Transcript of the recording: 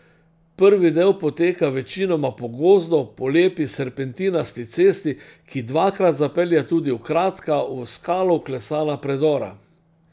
Prvi del poteka večinoma po gozdu, po lepi serpentinasti cesti, ki dvakrat zapelje tudi v kratka, v skalo vklesana predora.